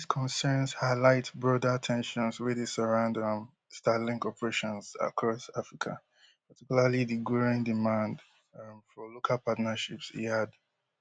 dis concerns highlight broader ten sions wey dey surround um starlink operations across africa particularly di growing demand um for local partnerships e add